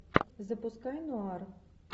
запускай нуар